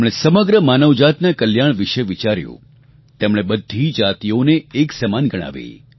તેમણે સમગ્ર માનવજાતના કલ્યાણ વિશે વિચાર્યું તેમણે બધી જાતિઓને એક સમાન ગણાવી